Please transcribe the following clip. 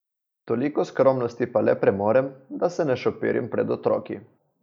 Toliko skromnosti pa le premorem, da se ne šopirim pred otroki.